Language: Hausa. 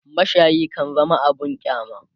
mashayi kan zama abun kyama